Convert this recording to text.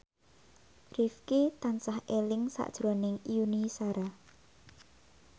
Rifqi tansah eling sakjroning Yuni Shara